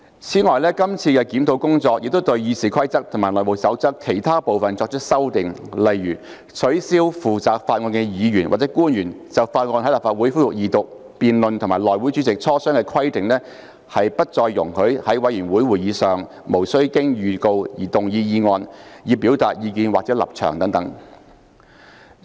此外，這次的檢討工作亦對《議事規則》及《內務守則》的其他部分作出修訂，例如取消負責法案的議員或官員就法案在立法會恢復二讀辯論與內會主席磋商的規定，以及不再容許議員在委員會會議上無經預告而動議議案以表達意見或立場等。